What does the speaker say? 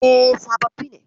E, sababbi ne.